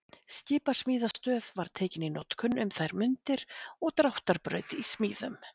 Skipasmíðastöð var tekin í notkun um þær mundir og dráttarbraut í smíðum.